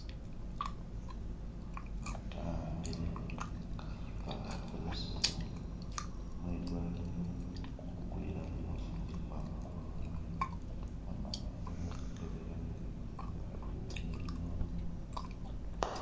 Umutu wa'ambile kachupa kakozesewa mwi dwalilo kubugulilamo mafugi kwama kuba lwale bamala baza bagakebelamo bulwale bu mulimo.